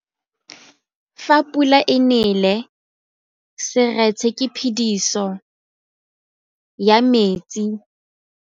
Fa pula e nelê serêtsê ke phêdisô ya metsi.